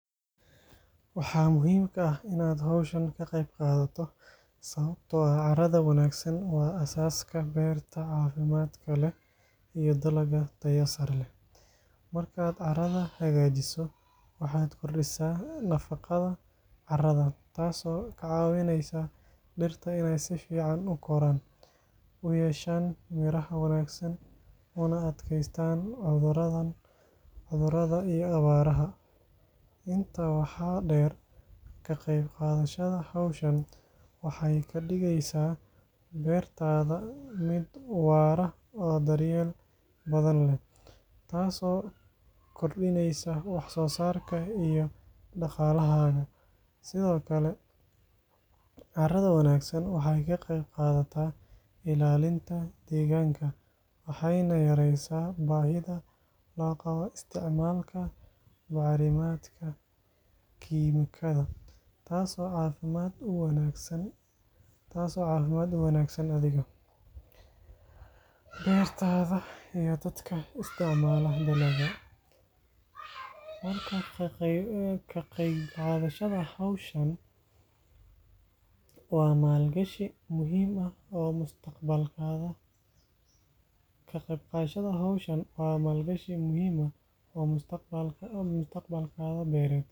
Waxaa muhiim ah in aad howshan ka qeb qadato sawabto ah caraada wanagsan waa asaska beerta cafimaadka leh iyo dalaga tayo sare leh marka carada hagajiso waxaa kordisa b nafaqaada caraada tas oo cawineysa dirta in si fican u koran oo na yeshan miro wanagsan, waxee kadigeysa beertaada miid warto, tas oo cafimaad uwanagsan athiga, waa malgashi muhiim ah oo mufadalkaadha beered.